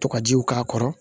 Tɔgɔjiw k'a kɔrɔ